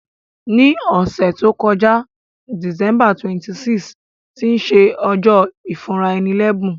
Ní òsẹ̀ to joká, December 26, tí se ojó ìfúnraẹni lẹ́bùn